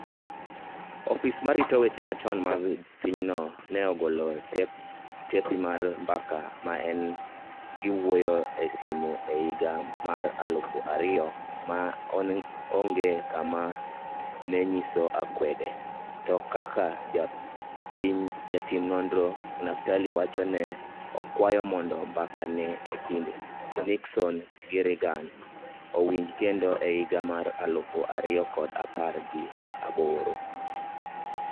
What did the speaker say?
Ofis mar rito weche machon mag pinyno ne ogolo tepi mar mbaka ma ne giwuoyoe e simu e higa mar aluf ariyo ma onge kama ma ne nyiso akwede, to kaka jatim nonro Naftali owacho ne okwayo mondo mbaka e kind Nixon gi Reagan owinj kendo e higa mar aluf ariyo kod apar gi aboro.